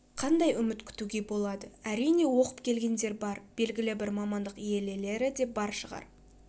қандай үміт күтуге болады әрине оқып келгендер бар белгілі бір мамандық иелелері де бар шығар